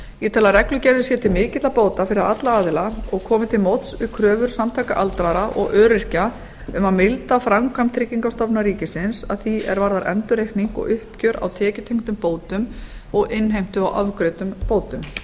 ég tel að reglugerðin sé til mikilla bóta fyrir alla aðila og komi til móts við kröfur samtaka aldraðra og öryrkja um að milda framkvæmd tryggingastofnunar ríkisins að því er varðar endurreikning og uppgjör á tekjutengdum bótum og innheimtu á ofgreiddum bótum